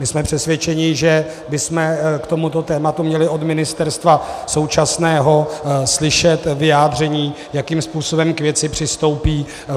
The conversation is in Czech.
My jsme přesvědčeni, že bychom k tomuto tématu měli od ministerstva současného slyšet vyjádření, jakým způsobem k věci přistoupí.